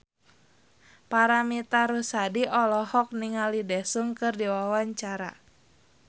Paramitha Rusady olohok ningali Daesung keur diwawancara